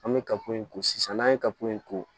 An bɛ ka ko in ko sisan n'an ye kapo in ko